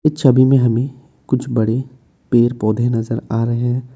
छवि में हमे कुछ बड़े पेड़ पौधे नजर आ रहे हैं।